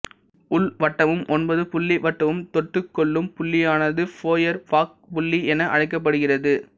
உள்வட்டமும் ஒன்பதுபுள்ளி வட்டமும் தொட்டுக்கொள்ளும் புள்ளியானது ஃபோயர்பாக் புள்ளி என அழைக்கப்படுகிறது